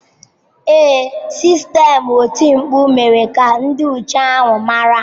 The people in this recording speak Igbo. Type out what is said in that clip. Ee, sistemụ oti mkpu mere ka ndị nche ahụ mara.